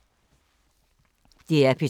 DR P3